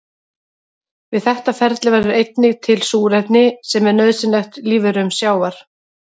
Við þetta ferli verður einnig til súrefni sem er nauðsynlegt lífverum sjávar.